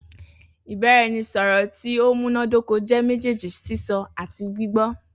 Ibaraẹnisọrọ ti o munadoko jẹ mejeeji sisọ ati gbigbọ.